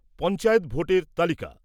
পঞ্চায়েত ভোটের তালিকা